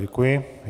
Děkuji.